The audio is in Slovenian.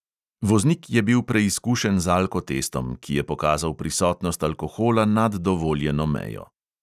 Voznik je bil preizkušen z alkotestom, ki je pokazal prisotnost alkohola nad dovoljeno mejo.